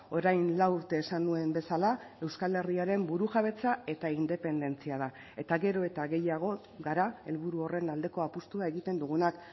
orain lau urte esan nuen bezala euskal herriaren burujabetza eta independentzia da eta gero eta gehiago gara helburu horren aldeko apustua egiten dugunak